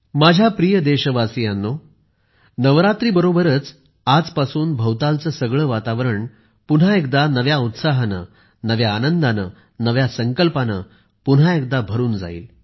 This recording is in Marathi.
माझ्या प्रिय देशवासीयांनो नवरात्रीबरोबरच आजपासून भवतालचे सगळे वातावरण पुन्हा एकदा नव्या उत्साहाने नव्या आनंदाने नव्या संकल्पाने पुन्हा एकदा भरून जाईल